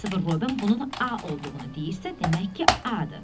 Kristofer Robin bunun A olduğunu deyirsə, demək ki, A-dır.